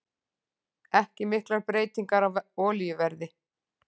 Ekki miklar breytingar á olíuverði